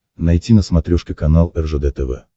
найти на смотрешке канал ржд тв